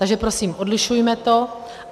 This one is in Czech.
Takže prosím, odlišujme to.